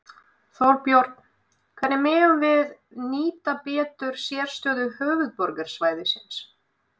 Þorbjörn: Hvernig megum við nýta betur sérstöðu höfuðborgarsvæðisins?